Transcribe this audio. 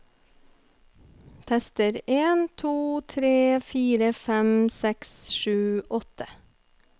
Tester en to tre fire fem seks sju åtte